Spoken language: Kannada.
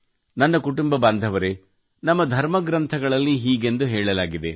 ನನ್ನ ಕುಟುಂಬ ಬಾಂಧವರೇ ನಮ್ಮ ಧರ್ಮಗ್ರಂಥಗಳಲ್ಲಿ ಹೀಗೆಂದು ಹೇಳಲಾಗಿದೆ